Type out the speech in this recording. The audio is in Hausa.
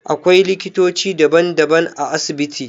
Akwailiktoci daban daban a asibiti